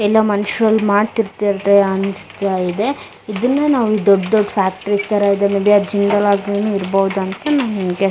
ಎಲ್ಲಾ ಮನುಷ್ಯರು ಅಲ್ ಮಾಡ್ತಿರ್ತಿದ್ದೆ ಆನ್ಸ್ತಾಯಿದೆ ಇದನ್ನೇ ನಾವು ದೊಡ್ಡೊಡ್ ಫ್ಯಾಕ್ಟ್ರಿಸ್ ತರ ಇದಾವೆ ವೆ ಇರಬಹುದಂತ ನಮ್ಮ್ ಗೆ --